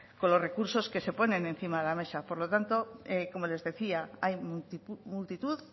con los recursos que se ponen encima de la mesa por lo tanto como les decía hay multitud